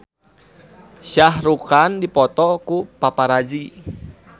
Shah Rukh Khan dipoto ku paparazi